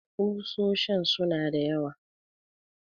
Kusoshin su na da yawa